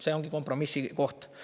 See on kompromissi koht.